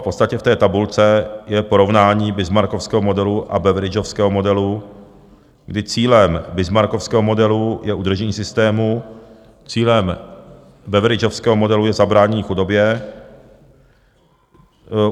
V podstatě v té tabulce je porovnání bismarckovského modelu a beveridgeovského modelu, kdy cílem bismarckovského modelu je udržení systému, cílem beveridgeovského modelu je zabránění chudobě.